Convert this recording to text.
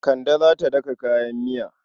Kande za ta daka kayan miya.